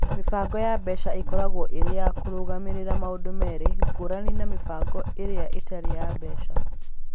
Mĩbango ya mbeca ĩkoragwo ĩrĩ ya kũrũgamĩrĩra maũndũ merĩ, ngũrani na mĩbango ĩrĩa ĩtarĩ ya mbeca.